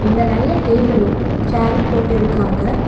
இங்க நெறையா டேபிளும் சேரும் போட்டிருக்காங்க.